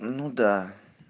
ну да